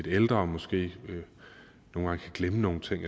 ældre og måske nogle gange kan glemme nogle ting